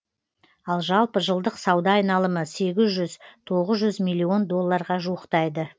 ал жалпы жылдық сауда айналымы сегіз жүз тоғыз жүз милллион долларға жуықтайды